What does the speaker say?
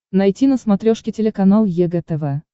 найти на смотрешке телеканал егэ тв